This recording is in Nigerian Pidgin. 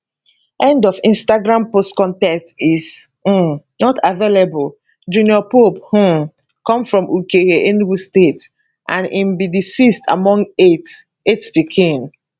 end of instagram post con ten t is um not available junior pope um come from ukehe enugu state and im be di sixth among eight eight pikin